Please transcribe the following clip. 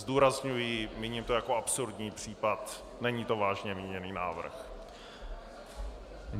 Zdůrazňuji, míním to jako absurdní případ, není to vážně míněný návrh.